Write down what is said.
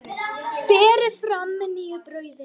Berið fram með nýju brauði.